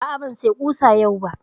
A'a, ban saya ƙusa yau ba